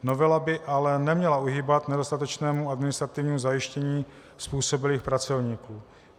Novela by ale neměla uhýbat nedostatečnému administrativnímu zajištění způsobilých pracovníků.